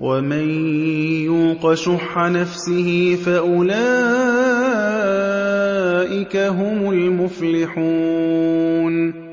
وَمَن يُوقَ شُحَّ نَفْسِهِ فَأُولَٰئِكَ هُمُ الْمُفْلِحُونَ